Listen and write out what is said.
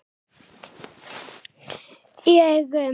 Í augum